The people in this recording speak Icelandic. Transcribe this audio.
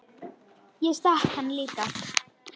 Ég stakk hann líka.